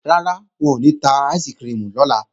Rárá, wọn ò ní ta áìsikirimù lọ́la